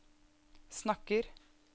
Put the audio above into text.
snakker